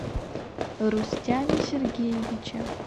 рустяме сергеевиче